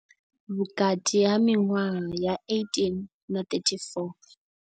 Vhukati ha miṅwaha ya 18 na 34.